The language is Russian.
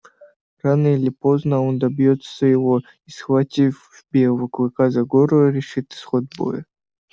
рано или поздно а он добьётся своего и схватив белого клыка за горло решит исход боя